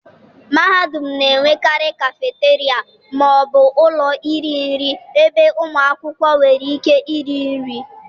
mahadum na-enwekarị cafeteria ma ọ bụ ụlọ iri nri ebe ụmụ akwụkwọ nwere ike iri nri.